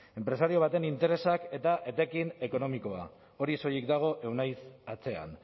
enpresario baten interesak eta etekin ekonomikoa hori soilik dago euneiz atzean